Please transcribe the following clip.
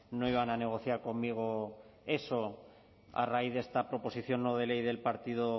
a negociar conmigo eso a raíz esta proposición no de ley